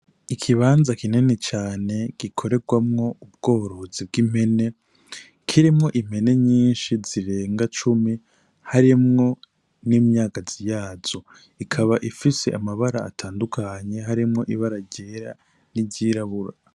Ikibanza kinini cane gikorerwamwo ubworozi bw'impene kirimwo impene nyishi zirenga cumi harimwo n'imyagazi yazo ikaba ifise amabara atandukanye harimwo ibara ryera n'iryirabura.